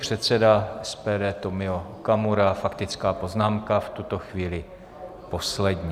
Předseda SPD Tomio Okamura, faktická poznámka v tuto chvíli poslední.